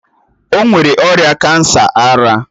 O nwere ọrịa kansa ara